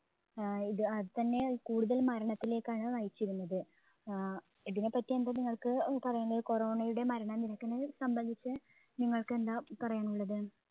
ആഹ് ഇത് അത് തന്നെ കൂടുതൽ മരണത്തിലേക്കാണ് നയിച്ചിരുന്നത്. ആഹ് ഇതിനെപ്പറ്റി എന്താ നിങ്ങൾക്ക് അഹ് പറയണ്ടേ corona യുടെ മരണനിരക്കിനെ സംബന്ധിച്ച് നിങ്ങൾക്ക് എന്താ പറയാനുള്ളത്